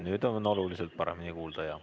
Nüüd on oluliselt paremini kuulda.